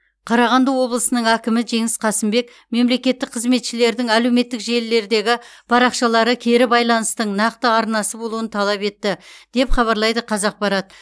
қарағанды облысының әкімі жеңіс қасымбек мемлекеттік қызметшілердің әлеуметтік желілердегі парақшалары кері байланыстың нақты арнасы болуын талап етті деп хабарлайды қазақпарат